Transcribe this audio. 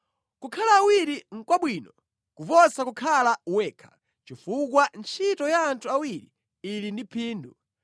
Kukhala awiri nʼkwabwino kuposa kukhala wekha, chifukwa ntchito ya anthu awiri ili ndi phindu: